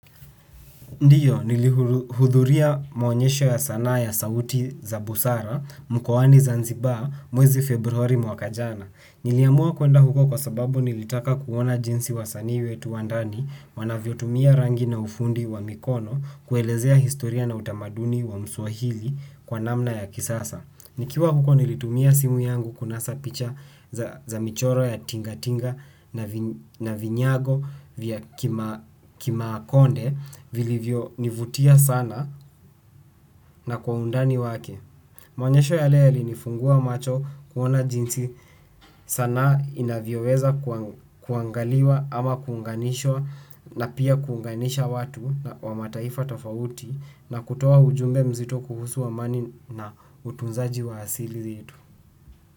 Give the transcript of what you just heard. Ndiyo nili hudhuria mwonyesho ya sana ya sauti za busara mkowani zanzibaa mwezi februari mwaka jana. Niliamua kuenda huko kwa sababu nilitaka kuona jinsi wasani wetu wandani wanavyo tumia rangi na ufundi wa mikono kuelezea historia na utamaduni wa msuahili kwa namna ya kisasa. Nikiwa huko nilitumia simu yangu kunasa picha za michoro ya tinga tinga na vinyago vya kimaakonde vilivyo nivutia sana na kwa undani wake. Mwanyesho yale yalinifungua macho kuona jinsi sana inavyoweza kuangaliwa ama kunganishwa na pia kunganisha watu wa mataifa tofauti na kutowa ujumbe mzito kuhusu amani na utunzaji wa hasili zitu.